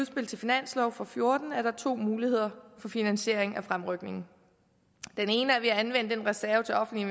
til finanslov for fjorten er der to muligheder for finansiering af fremrykningen den ene er ved at anvende den reserve til offentlige